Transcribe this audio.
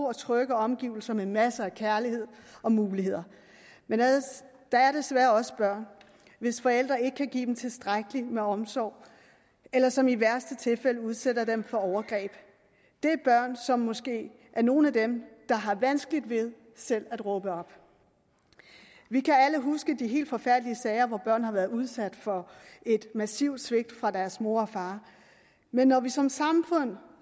og trygge omgivelser med masser af kærlighed og muligheder men der er desværre også børn hvis forældre ikke kan give dem tilstrækkelig omsorg eller som i værste tilfælde udsætter dem for overgreb det er børn som måske er nogle af dem der har vanskeligt ved selv at råbe op vi kan alle huske de helt forfærdelige sager hvor børn har været udsat for et massivt svigt fra deres mor og far men når vi som samfund